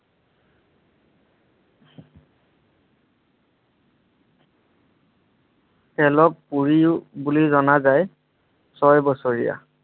খেলক পুৰিও বুলি জনা যায়। ছয় বছৰীয়া